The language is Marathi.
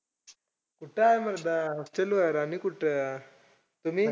कुठं आहे मर्दा hostel वर आणि कुठं! तुम्ही?